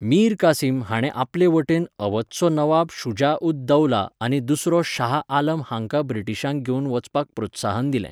मीर कासिम हाणें आपले वटेन अवधचो नवाब शुजा उद दौला आनी दुसरो शाह आलम हांकां ब्रिटीशांक घेवन वचपाक प्रोत्साहन दिलें.